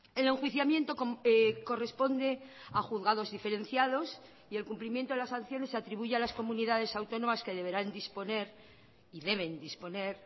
el enjuiciamiento corresponde a juzgados diferenciados y el cumplimiento de las sanciones se atribuye a las comunidades autónomas que deberán disponer y deben disponer